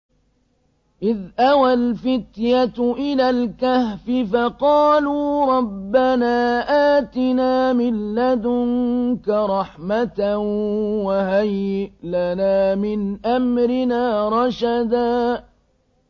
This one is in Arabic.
إِذْ أَوَى الْفِتْيَةُ إِلَى الْكَهْفِ فَقَالُوا رَبَّنَا آتِنَا مِن لَّدُنكَ رَحْمَةً وَهَيِّئْ لَنَا مِنْ أَمْرِنَا رَشَدًا